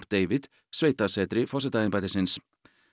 David sveitasetri forsetaembættisins